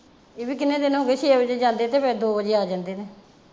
ਇਹ ਵੀ ਕਿੰਨੇ ਦਿਨ ਹੋਗੇ ਛੇ ਵਜੇ ਜਾਂਦੇ ਤੇ ਫਿਰ ਦੋ ਵਜੇ ਆ ਜਾਂਦੇ ਨੇ।